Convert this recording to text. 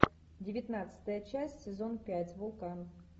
девятнадцатая часть сезон пять вулкан